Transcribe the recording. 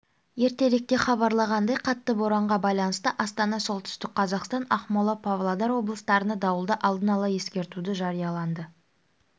ертеректе хабарланғандай қатты боранға байланысты астана солтүстік қазақстан ақмола павлодар облыстарына дауылды алдын ала ескертуді жарияланды